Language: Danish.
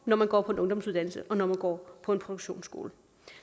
når man går på en ungdomsuddannelse og når man går på en produktionsskole